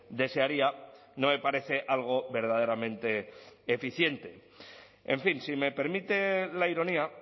desearía no me parece algo verdaderamente eficiente en fin si me permite la ironía